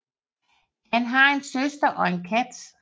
Han har en søster og en kat